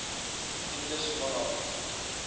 english monarchs